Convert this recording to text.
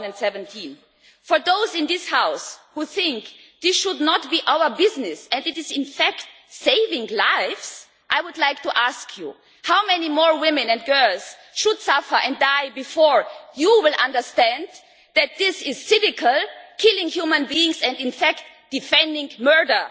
2017. For those in this House who think this should not be our business as it is in fact saving lives, I would like to ask you how many more women and girls should suffer and die before you will understand that this is cynical, killing human beings, and in fact defending murder.